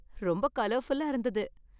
ரொம்ப கலர்ஃபுல்லா இருந்தது.